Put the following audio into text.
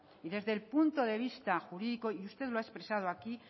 desde el punto de vista jurídico y usted lo ha expresado aquí